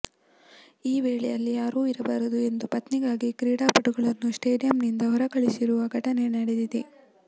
ಈ ವೇಳೆ ಅಲ್ಲಿ ಯಾರೂ ಇರಬಾರದು ಎಂದು ಪತ್ನಿಗಾಗಿ ಕ್ರೀಡಾಪಟುಗಳನ್ನು ಸ್ಟೇಡಿಯಂನಿಂದ ಹೊರಕಳಿಸಿರುವ ಘಟನೆ ನಡೆದಿದೆ